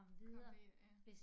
Komme videre ja